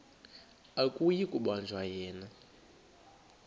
akuyi kubanjwa yena